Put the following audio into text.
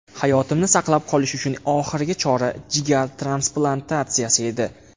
Hayotimni saqlab qolish uchun oxirgi chora jigar transplantatsiyasi edi.